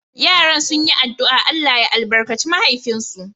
Yaran sun yi addu’a Allah ya albarkace mahaifinsu.